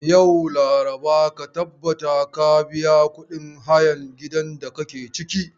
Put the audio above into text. Yau, laraba, ka tabbata ka biya kudin hayan gidan da kake ciki.